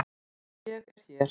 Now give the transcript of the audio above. Ég er hér.